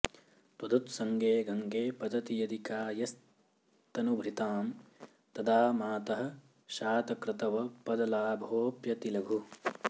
त्वदुत्संगे गंगे पतति यदि कायस्तनुभृतां तदा मातः शातक्रतवपदलाभोऽप्यतिलघुः